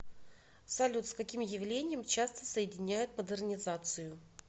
салют с каким явлением часто соединяют модернизацию